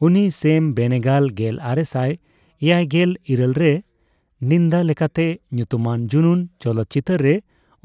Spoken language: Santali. ᱩᱱᱤ ᱥᱮᱢ ᱵᱮᱱᱮᱜᱟᱞ ᱜᱮᱞᱟᱨᱮᱥᱟᱭ ᱮᱭᱟᱭᱜᱮᱞ ᱤᱨᱟᱹᱞ ᱨᱮ ᱱᱤᱱᱫᱟ ᱹᱞᱮᱠᱟᱛᱮ ᱧᱩᱛᱩᱢᱟᱱ ᱡᱩᱱᱩᱱ ᱪᱚᱞᱚᱛᱪᱤᱛᱟᱹᱨ ᱨᱮᱭ